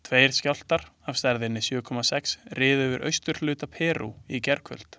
Tveir skjálftar af stærðinni sjö komma sex riðu yfir austurhluta Perú í gærkvöld.